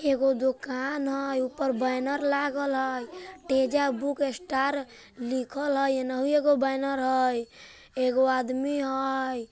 एगो दुकान हई ऊपर बैनर लागल हई टेजा बूक स्टार लिखल हई एनहु एगो बैनर हई एगो आदमी हई।